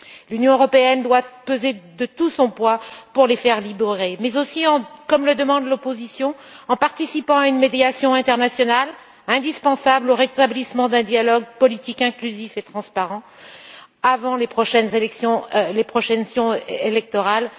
L'Union européenne doit peser de tout son poids pour les faire libérer mais aussi, comme le demande l'opposition, en participant à une médiation internationale, indispensable au rétablissement d'un dialogue politique pluraliste et transparent avant les prochaines échéances électorales.